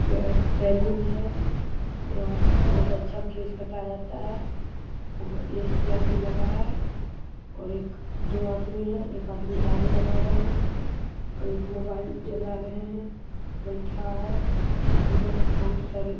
यह एक सैलून है यहाँ बोहुत अच्छा केश काटा जाता है और ए.सी. और भी लगा है और एक-दो आदमी है । एक आदमी दाढ़ी बना रहे हैं और एक मोबाइल चला रहे हैं बैठा है उधर बोहुत सारे --